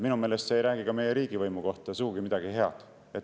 Minu meelest see ei räägi meie riigivõimu kohta sugugi midagi head.